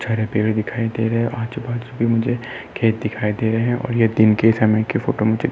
दिखाई दे रहे हैं। आजू-बाजू में मुझे खेत दिखाई दे रहे हैं और ये दिन के समय का फोटो मुझे --